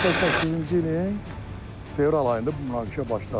88-ci ilin fevral ayında bu münaqişə başladı.